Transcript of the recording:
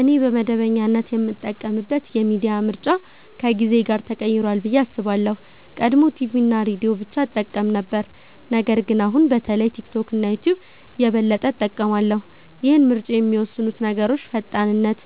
እኔ በመደበኛነት የምጠቀምበት የሚዲያ ምርጫ ከጊዜ ጋር ተቀይሯል ብዬ አስባለሁ። ቀድሞ ቲቪ እና ሬዲዮ ብቻ እጠቀም ነበር ነገር ግን አሁን በተለይ ቲክቶክ እና ዩትዩብ የበለጠ እጠቀማለሁ። ይህን ምርጫ የሚወስኑት ነገሮች ፈጣንነት